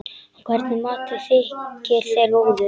Hvernig matur þykir þér góður?